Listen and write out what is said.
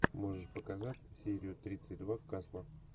можешь показать серию тридцать два касла